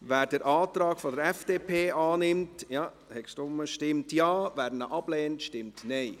Wer den Antrag der FDP annimmt, stimmt Ja, wer diesen ablehnt, stimmt Nein.